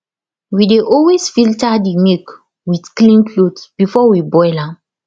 we dey always filter the milk with clean cloth before we boil am